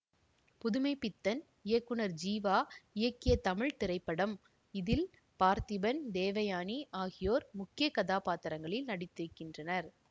புதுமை பித்தன் இயக்குனர் ஜீவா இயக்கிய தமிழ் திரைப்படம் இதில் பார்த்திபன் தேவயானி ஆகியோர் முக்கிய கதாபாத்திரங்களில் நடித்திருக்கின்றனர்